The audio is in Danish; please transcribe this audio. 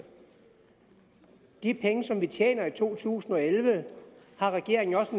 de penge som vi tjener i to tusind og elleve er regeringen jo også